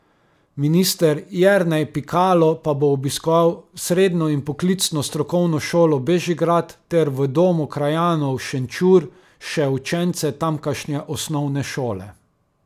Minister Jernej Pikalo pa bo obiskal Srednjo in poklicno strokovno šolo Bežigrad ter v Domu krajanov Šenčur še učence tamkajšnje osnovne šole.